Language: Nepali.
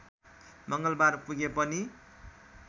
मङ्गलबार पुगे पनि